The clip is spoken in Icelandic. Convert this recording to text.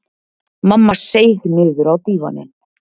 Mamma seig niður á dívaninn.